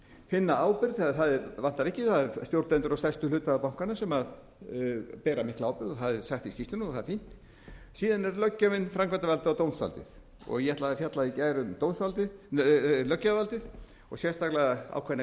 finna ábyrgð það vantar ekki það eru stjórnendur og stærstu hluthafar bankanna sem bera mikla ábyrgð og það er sagt í skýrslunni og það er fínt síðan er löggjöfin framkvæmdarvaldið og dómsvaldið og ég ætlaði í gær að fjalla um löggjafarvaldið og sérstaklega ákveðna